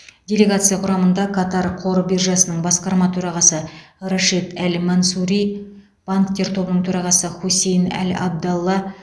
делегация құрамында катар қор биржасының басқарма төрағасы рашид әл мансури банктер тобының төрағасы хусейн әл абдалла